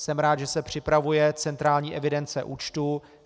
Jsem rád, že se připravuje centrální evidence účtů.